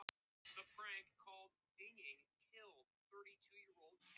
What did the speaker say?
Hvað kunni Kristín að segja á íslensku?